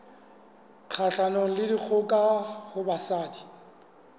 kgahlanong le dikgoka ho basadi